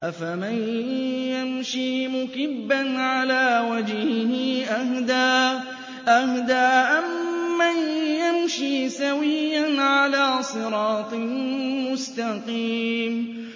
أَفَمَن يَمْشِي مُكِبًّا عَلَىٰ وَجْهِهِ أَهْدَىٰ أَمَّن يَمْشِي سَوِيًّا عَلَىٰ صِرَاطٍ مُّسْتَقِيمٍ